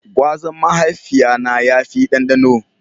Gwazan mahaifiya na ya fi dandano.